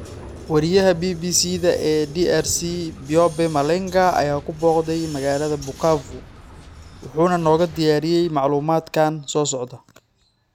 Weriyaha BBC-da ee DRC, Byobe Malenga, ayaa ku booqday magaalada Bukavu, wuxuuna nooga diyaariyay macluumaadkan soo socda.